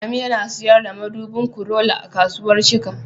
Adamu yana sayar da madubin Corolla a kasuwar Shika